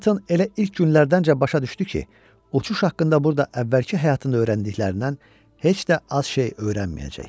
Conatan elə ilk günlərdəncə başa düşdü ki, uçuş haqqında burda əvvəlki həyatında öyrəndiklərindən heç də az şey öyrənməyəcək.